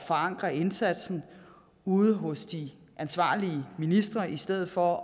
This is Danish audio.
forankre indsatsen ude hos de ansvarlige ministre i stedet for